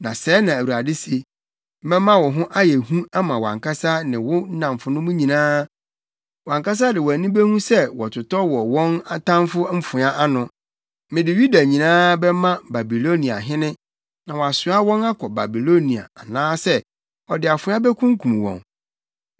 Na sɛɛ na Awurade se: ‘Mɛma wo ho ayɛ hu ama wʼankasa ne wo nnamfonom nyinaa, wʼankasa de wʼani behu sɛ wɔtotɔ wɔ wɔn atamfo mfoa ano. Mede Yuda nyinaa bɛma Babiloniahene na wasoa wɔn akɔ Babilonia anaasɛ ɔde afoa bekunkum wɔn.